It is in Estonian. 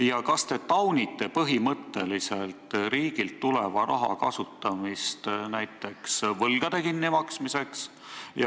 Ja kas te taunite põhimõtteliselt riigilt tuleva raha kasutamist võlgade kinnimaksmiseks?